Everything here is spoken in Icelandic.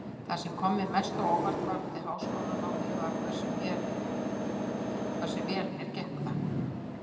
Það sem kom mér mest á óvart varðandi háskólanámið var hversu vel mér gekk það.